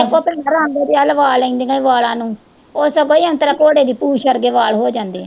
ਇੱਕ ਉਹ ਭੈਣਾਂ ਰੰਗ ਜਾ ਲਵਾ ਲੈਂਦੀਆਂ ਈ ਵਾਲਾ ਨੂੰ ਉਹ ਸਗੋਂ ਈ ਔਂਤਰਾ ਘੋੜੇ ਦੀ ਪੂਛ ਵਰਗੇ ਵਾਲ ਹੋ ਜਾਂਦੇ ਆ।